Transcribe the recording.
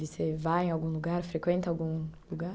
Você vai em algum lugar, frequenta algum lugar?